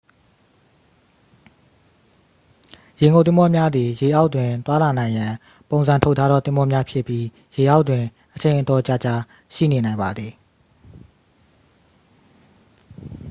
ရေငုပ်သင်္ဘောများသည် ရေအောက်တွင်သွားလာနိုင်ရန် ပုံစံထုတ်ထားသော သင်္ဘောများဖြစ်ပြီး ရေအောက်တွင် အချိန်အတော်ကြာကြာ ရှိနေနိုင်ပါသည်